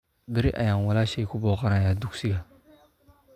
Berri ayaan walaashay ku booqanayaa dugsiga